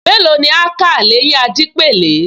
Mélòó ni kí á kà l’éyín Adépèlé?